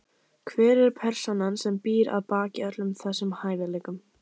Hver er persónan sem býr að baki öllum þessum hæfileikum?